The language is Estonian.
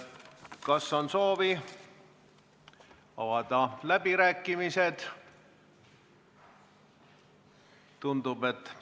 Kas on soovi pidada läbirääkimisi?